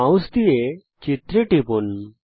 mouse দিয়ে চিত্রে টিপুন